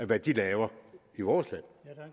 hvad de laver i vores land